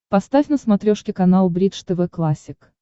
поставь на смотрешке канал бридж тв классик